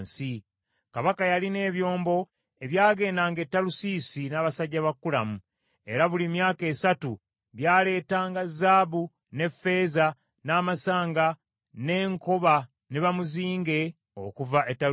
Kabaka yalina ebyombo ebyagendanga e Talusiisi n’abasajja ba Kulamu, era buli myaka esatu byaleetanga zaabu n’effeeza, n’amasanga, n’enkoba n’enkima okuva e Talusiisi.